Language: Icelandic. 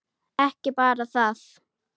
Ekki bara það.